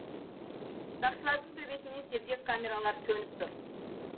сақшылардың төбесінен сергек камералары төніп тұр